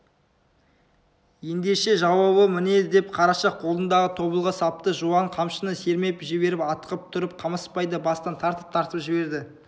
ендеше жауабы міне деп қараша қолындағы тобылғы сапты жуан қамшыны сермеп жіберіп атқып тұрып қамысбайды бастан тартып-тартып жіберді